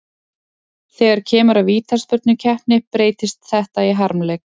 Þegar kemur að vítaspyrnukeppni breytist þetta í harmleik.